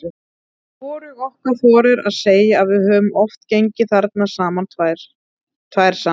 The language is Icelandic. Hvorug okkar þorir að segja að við höfum oft gengið þarna tvær saman.